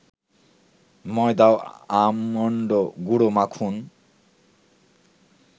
ময়দা ও আমন্ড গুঁড়ো মাখুন